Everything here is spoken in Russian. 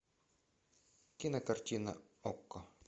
кинокартина окко